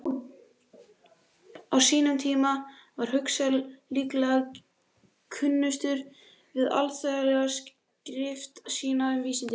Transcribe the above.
Á sínum tíma var Huxley líklega kunnastur fyrir alþýðleg skrif sín um vísindi.